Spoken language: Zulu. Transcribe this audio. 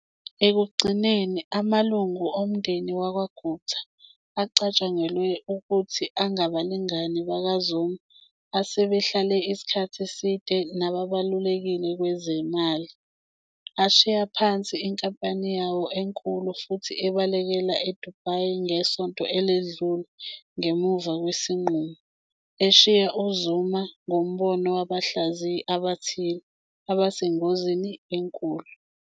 Ekugcineni, amalungu omndeni wakwaGupta, acatshangelwe ukuthi angabalingani bakaZuma asebehlala isikhathi eside nababalulekile kwezemali, ashiya phansi inkampani yawo enkulu futhi abalekela Dubai ngesonto eledlule ngemuva kwesinqumo - eshiya uZuma, ngombono wabahlaziyi abathile, abasengozini enkulu.